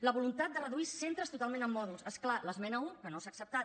la voluntat de reduir centres totalment amb mòduls és clar l’esmena un que no s’ha acceptat